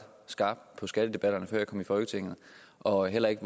skarp på skattedebatterne før jeg kom i folketinget og heller ikke